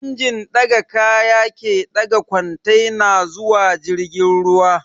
Injin ɗaga kaya ke ɗaga kwantena zuwa jirgin ruwa